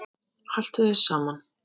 Haltu þér saman